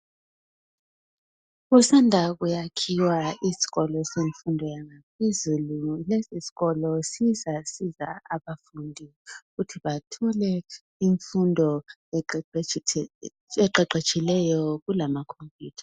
Kusanda kuyakhiwa isikolo semfundo yaphezulu. Lesisikolo sizasiza abafundi ukuthi bathole imfundo eqeqetshileyo kulamakhompuyutha.